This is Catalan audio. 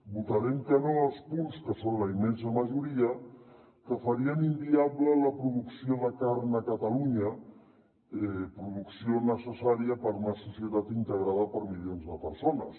votarem que no als punts que són la immensa majoria que farien inviable la producció de carn a catalunya producció necessària per a una societat integrada per milions de persones